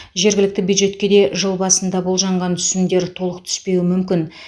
жергілікті бюджетке де жыл басында болжанған түсімдер толық түспеуі мүмкін